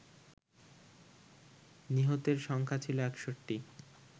নিহতের সংখ্যা ছিল ৬১